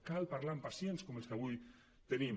cal parlar amb pacients com els que avui tenim